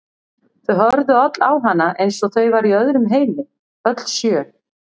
Þau horfðu öll á hana eins og þau væru í öðrum heimi, öll sjö.